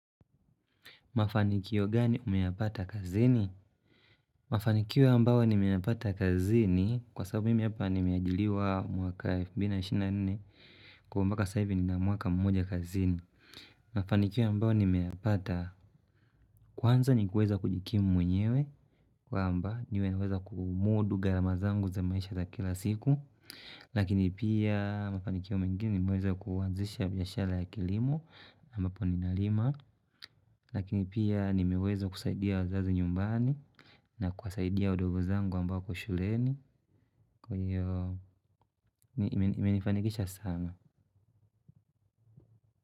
Mafanikio gani umeyapata kazini? Mafanikio ambao nimeyapata kazini, kwanza mimi hapa nimeajiliwa mwaka elfu mbili ishirini na nne, kwa hvo mpaka sasa hivi nina mwaka mmoja kazini. Mafanikio ambao nimeyapata, kwanza ni kuweza kujikimu mwenyewe, kwamba nimeweza kumudu gharama zangu za maisha za kila siku. Lakini pia, mafanikio mengine nimeweza kuanzisha biashara ya kilimo, ambapo ninalima. Lakini pia nimeweza kusaidia wazazi nyumbani na kuwasaidia wadogo zangu ambao shuleni kwa hiyo, imenifanikisha sana.